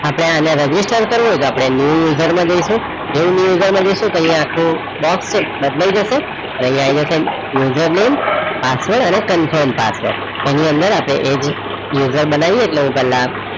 આપણે અને register કરીએ તો આપણે new user જઈશું જેવું new user તૈયાહ આખું box બદલાઈ જશે અને અહીંયા આવીને user name પાસવર્ડ અને confirm પાસવર્ડ એની અંદર આપણે એ જ user બનાવી